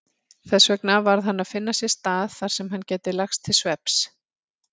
Þessvegna varð hann að finna sér stað þarsem hann gæti lagst til svefns.